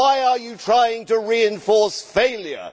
Why are you trying to reinforce failure?